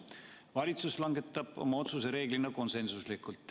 Valitsus langetab oma otsuse reeglina konsensusega.